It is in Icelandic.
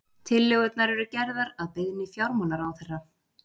Tillögurnar eru gerðar að beiðni fjármálaráðherra